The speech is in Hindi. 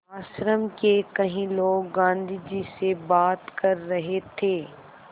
आश्रम के कई लोग गाँधी जी से बात कर रहे थे